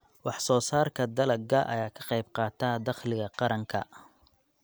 Wax-soo-saarka dalagga ayaa ka qayb qaata dakhliga qaranka.